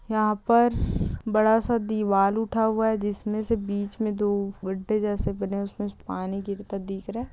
यहाँ पर बड़ा सा दीवाल उठा हुआ है जिसमे से बिच में दो गड्ढे जैसे बने है उसमे से पानी गिरता दिख रहा है।